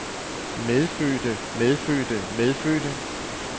medfødte medfødte medfødte